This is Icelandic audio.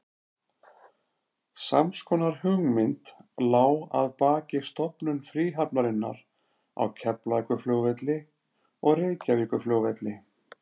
Sams konar hugmynd lá að baki stofnun fríhafnarinnar á Keflavíkurflugvelli og Reykjavíkurflugvelli.